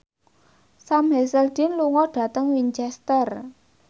Sam Hazeldine lunga dhateng Winchester